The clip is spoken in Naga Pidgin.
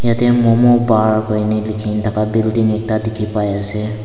te momo pa hoine likhi thaka building ekta dikhi pai ase.